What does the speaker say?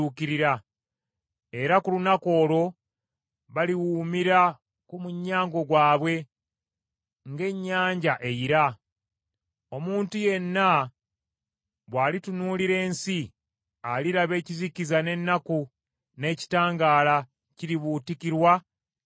Era ku lunaku olwo baliwuumira ku munyago gwabwe ng’ennyanja eyira. Omuntu yenna bw’alitunuulira ensi, aliraba ekizikiza n’ennaku; n’ekitangaala kiribuutikirwa ebire ebikutte.